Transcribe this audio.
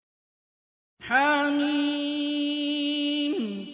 حم